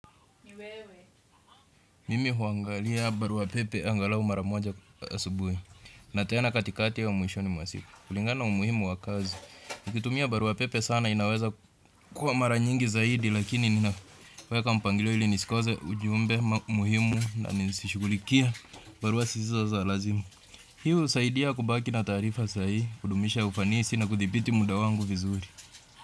Mimi huangalia barua pepe angalau mara moja asubuhi. Na tena katikati au mwishoni mwa siku. Kulingana umuhimu wa kazi. Nikitumia barua pepe sana inaweza kuwa mara nyingi zaidi lakini ninaweka mpangilio ili nsikose ujumbe muhimu na nisishukulikie barua sisizo za lazima. Hii husaidia kubaki na taarifa sahihi kudumisha ufanisi na kuthibiti muda wangu vizuri.